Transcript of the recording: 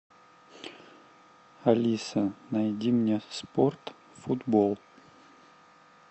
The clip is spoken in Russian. алиса найди мне спорт футбол